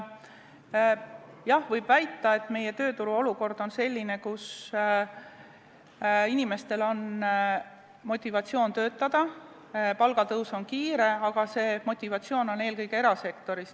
Jah, võib väita, et meie tööturu olukord on selline, et inimestel on motivatsioon töötada, palgatõus on kiire, aga see motivatsioon on eelkõige erasektoris.